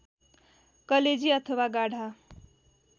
कलेजी अथवा गाढा